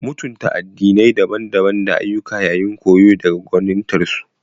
Mutunta addinai daban-daban da ayyuka yayin koyo daga gwanintarsu.